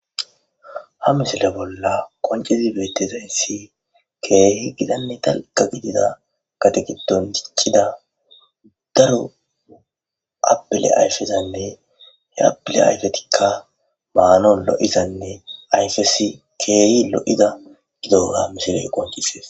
Ha misile bolla qoncezi beettizahyssi keehi gitanne dalgga gidida gadon diciccida daro abile ayfezanne he abile aydetikka maano lo7izanne ayfesi keehi lo7ida gidoga mishiley qoncisees.